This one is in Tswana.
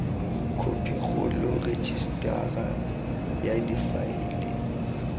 khophi kgolo rejisetara ya difaele